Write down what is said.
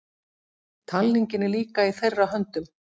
Talningin er líka í þeirra höndum